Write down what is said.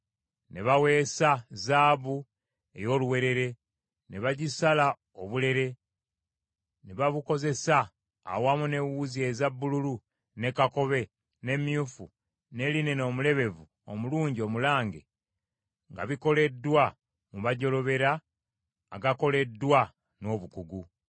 Ne baweesa zaabu ey’oluwewere, ne bagisala obulere ne babukozesa awamu n’ewuzi eza bbululu, ne kakobe, ne myufu ne linena omulebevu omulungi omulange, nga bikoleddwa mu majjolobera agakoleddwa n’obukugu.